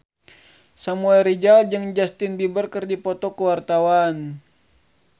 Samuel Rizal jeung Justin Beiber keur dipoto ku wartawan